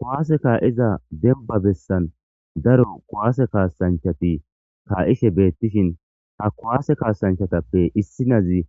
Kowaase kaa7iza denba bessan daro kuwaase kaasanchati kaa7ishe beettishin ha kuwaase kaasanchatappe issinazi